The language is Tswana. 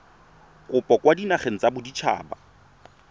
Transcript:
kopo kwa dinageng tsa baditshaba